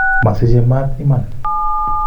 Mosichei mat iman